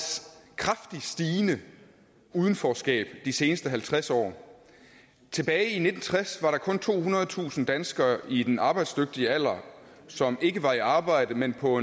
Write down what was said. kraftigt stigende udenforskab de seneste halvtreds år tilbage i nitten tres var der kun tohundredetusind danskere i den arbejdsdygtige alder som ikke var i arbejde men på